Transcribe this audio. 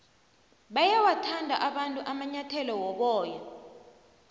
bayawathanda abantu amanyathele woboya